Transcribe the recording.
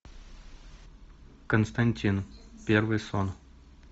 константин первый сон